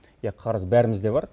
иә қарыз бәрімізде бар